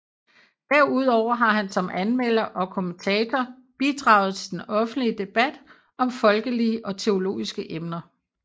Derudover har han som anmelder og kommentator bidraget til den offentlige debat om folkelige og teologiske emner